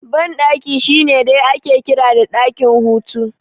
Banɗaki shine dai ake kira da ɗakin hutu